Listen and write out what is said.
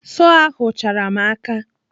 Sọọ ahụ chara m n'aka.